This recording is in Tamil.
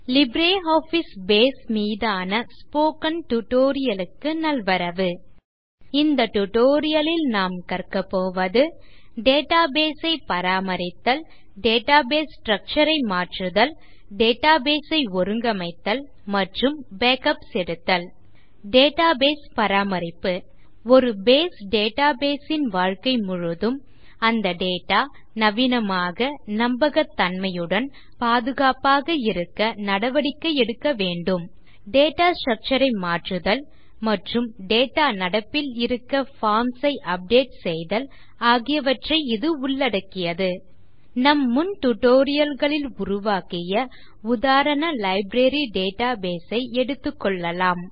லிப்ரியாஃபிஸ் பேஸ் மீதான இந்த ஸ்போக்கன் டியூட்டோரியல் க்கு நல்வரவு இந்த டியூட்டோரியல் லில் கற்க போவது டேட்டாபேஸ் ஐ பராமரித்தல் டேட்டாபேஸ் ஸ்ட்ரக்சர் ஐ மாற்றுதல் டேட்டாபேஸ் ஐ ஒருங்கமைத்தல் மற்றும் பேக்கப்ஸ் எடுத்தல் டேட்டாபேஸ் பராமரிப்பு ஒரு பேஸ் டேட்டாபேஸ் ன் வாழ்க்கை முழுதும் அந்த டேட்டா நவீனமாக நம்பகத்தன்மையுடன் பாதுகாப்பாக இருக்க நடவடிக்கை எடுக்க வேண்டும் டேட்டா ஸ்ட்ரக்சர் ஐ மாற்றுதல் மற்றும் டேட்டா நடப்பில் இருக்க பார்ம்ஸ் ஐ அப்டேட் செய்தல் ஆகியவற்றை இது உள்ளடக்கியது நம் முன் tutorialகளில் உருவாக்கிய உதாரண லைப்ரரி டேட்டாபேஸ் ஐ எடுத்துக்கொள்ளலாம்